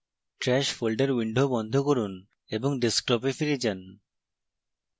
trash folder window বন্ধ করুন এবং ডেস্কটপে ফিরে আসুন